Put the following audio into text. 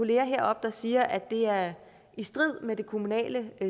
heroppe der siger at det er i strid med det kommunale